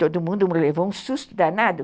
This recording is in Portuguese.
Todo mundo levou um susto danado.